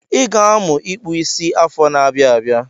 I ga-amụ ịkpụ isi afọ n'abia abịa.